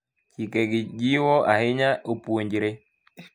Chikegi jiwo ahinya opuonjre.